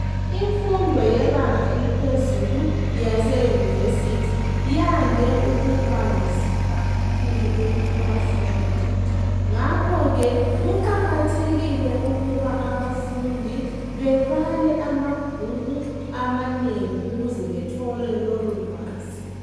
Imfundo yebanga eliphezulu yase yunivesithi yande ukubanzima kakhulu kubafundi. Ngakho ke kuqakathekile ukuba abafundi bebale amabhuku amanengi ukuze bathole lolulwazi.